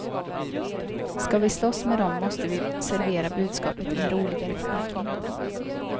Ska vi slåss med dem måste vi servera budskapet i en roligare förpackning.